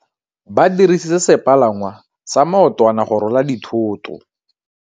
Ba dirisitse sepalangwasa maotwana go rwala dithôtô.